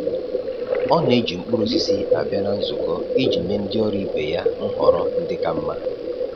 Ọ na-eji mkpụrụ osisi abịa na nzukọ iji nye ndị ọrụ ibe ya nhọrọ ndị ka mma.